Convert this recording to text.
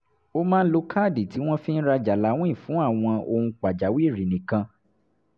ó máa ń lo káàdì tí wọ́n fi ń rajà láwìn fún àwọn ohun pàjáwìrì nìkan